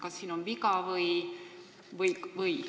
Kas siin on viga?